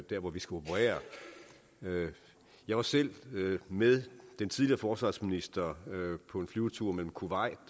der hvor vi skal operere jeg var selv med den tidligere forsvarsminister på en flyvetur mellem kuwait